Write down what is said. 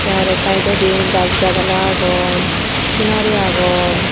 te araw saidodi gaz gagala agon sinari agon.